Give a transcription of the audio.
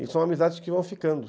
E são amizades que vão ficando.